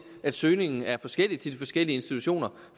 at søgningen er forskellig til de forskellige institutioner